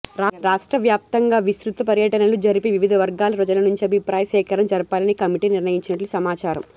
రాష్ట్ర వ్యాప్తంగా విస్తృత పర్యటనలు జరిపి వివిధ వర్గాల ప్రజల నుంచి అభిప్రాయ సేకరణ జరపాలని కమిటీ నిర్ణయించినట్లు సమాచారం